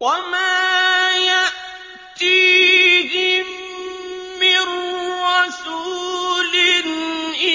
وَمَا يَأْتِيهِم مِّن رَّسُولٍ